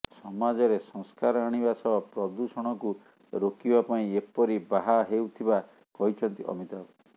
ସମାଜରେ ସଂସ୍କାର ଆଣିବା ସହ ପ୍ରଦୂଷଣକୁ ରୋକିବା ପାଇଁ ଏପରି ବାହା ହେଉଥିବା କହିଛନ୍ତି ଅମିତାଭ